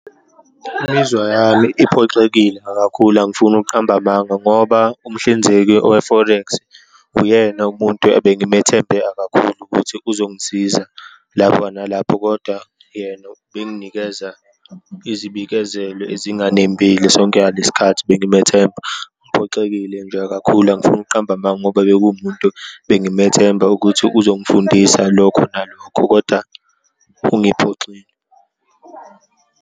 Imizwa yami iphoxekile akakhulu, angifuni ukuqamba amanga, ngoba umhlinzeki owe-forex uyena umuntu abengimethembe akakhulu ukuthi uzongisiza lapho nalapho, kodwa yena ubenginikeza izibikezelo ezinganembile sonke angalesikhathi bengimethemba. Ngiphoxekile nje kakhulu, angifuni ukuqamba amanga, ngoba bekuwumuntu bengimethemba ukuthi uzongifundisa lokho nalokho, kodwa ungiphoxile.